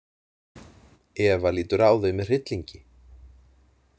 Eva lítur á þau með hryllingi.